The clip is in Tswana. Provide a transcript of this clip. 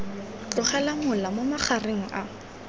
tlogela mola mo magareng a